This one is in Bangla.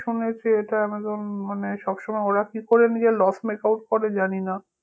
শুনেছি এটা আমাজন মানে সবসময় ওরা কি করে নিজের loss makeout করে জানিনা